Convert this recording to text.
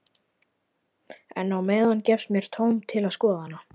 En á meðan gefst mér tóm til að skoða hana.